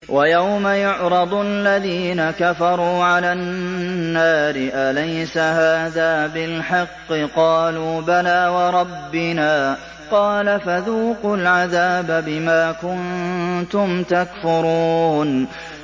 وَيَوْمَ يُعْرَضُ الَّذِينَ كَفَرُوا عَلَى النَّارِ أَلَيْسَ هَٰذَا بِالْحَقِّ ۖ قَالُوا بَلَىٰ وَرَبِّنَا ۚ قَالَ فَذُوقُوا الْعَذَابَ بِمَا كُنتُمْ تَكْفُرُونَ